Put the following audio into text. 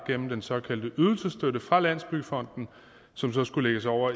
gennem den såkaldte ydelsesstøtte fra landsbyggefonden som så skulle lægges over